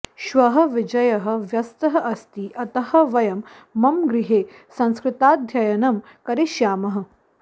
श्वः विजयः व्यस्तः अस्ति अतः वयं मम गृहे संस्कृताध्ययनं करिष्यामः